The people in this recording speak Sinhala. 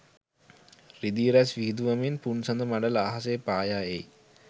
රිදී රැස් විහිඳුවමින් පුන්සඳ මඬල අහසේ පායා එයි.